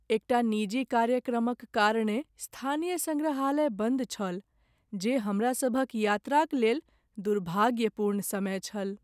एकटा निजी कार्यक्रमक कारणेँ स्थानीय सङ्ग्रहालय बन्द छल, जे हमरासभक यात्राक लेल दुर्भाग्यपूर्ण समय छल।